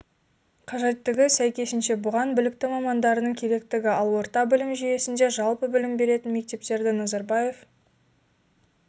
қажеттігі сәйкесінше бұған білікті мамандардың керектігі ал орта білім жүйесінде жалпы білім беретін мектептерді назарбаев